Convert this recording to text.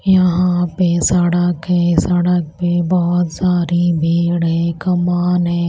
यहां पे सड़क है सड़क पे बहुत सारी भीड़ है कमान है।